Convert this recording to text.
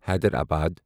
Hyderabad